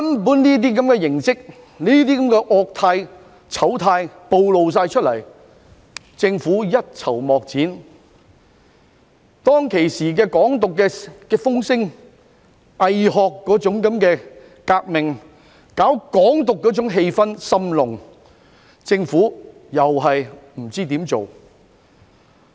面對這些惡態、醜態全部暴露出來，政府卻一籌莫展；面對當時"港獨"風聲中"偽學"革命和搞"港獨"的氣氛甚濃，政府亦不知如何處理。